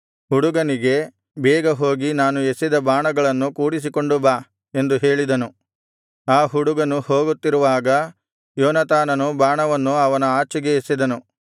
ಹುಡುಗನಿಗೆ ಬೇಗ ಹೋಗಿ ನಾನು ಎಸೆದ ಬಾಣಗಳನ್ನು ಕೂಡಿಸಿಕೊಂಡು ಬಾ ಎಂದು ಹೇಳಿದನು ಆ ಹುಡುಗನು ಹೋಗುತ್ತಿರುವಾಗ ಯೋನಾತಾನನು ಬಾಣವನ್ನು ಅವನ ಆಚೆಗೆ ಎಸೆದನು